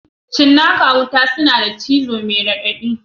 Cinnaka wuta suna da cizo mai raɗaɗi